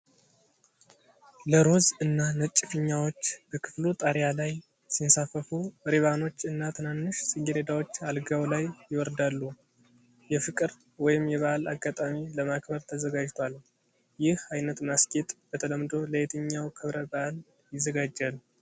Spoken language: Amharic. ለ ሮዝ እና ነጭ ፊኛዎች በክፍሉ ጣሪያ ላይ ሲንሳፈፉ ሪባኖች እና ትናንሽ ጽጌረዳዎች አልጋው ላይ ይወርዳሉ። የፍቅር ወይም የበዓል አጋጣሚ ለማክበር ተዘጋጅቷል። ይህ ዓይነት ማስጌጥ በተለምዶ ለየትኛው ክብረ በዓል ይዘጋጃል?